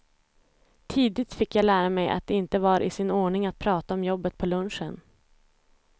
Tidigt fick jag lära mig att det inte var i sin ordning att prata om jobbet på lunchen.